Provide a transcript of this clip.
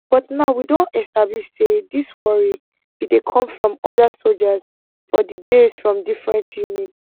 but now we don establish say dis worry bin dey come from oda sojas for di base from different units